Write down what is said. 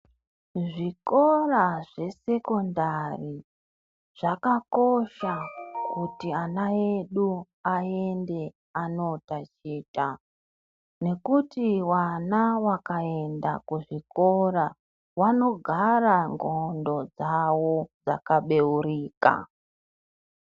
Zvikora zvesekondari zvakakosha kuti ana edu aende anotachita nekuti vana vakaenda kuzvikora vanogara ndxondo dzavo dzakabeurika.